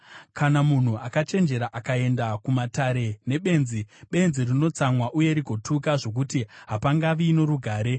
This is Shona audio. Kana munhu akachenjera akaenda kumatare nebenzi, benzi rinotsamwa uye rigotuka, zvokuti hapangavi norugare.